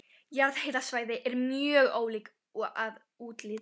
Jarðhitasvæði eru mjög ólík að útliti.